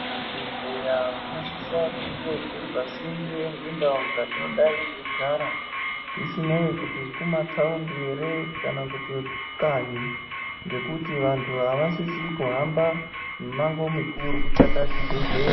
Zvibhedhleya zvinosise kunge zviri pasinde ngendau dzatinodayi teyigara, zvisineyi kuti kumatawundu ere kana kuti kukanyi. Ngekuti vantu avasisi kuhamba mimango mukuru kutsvaka chibhedhleya.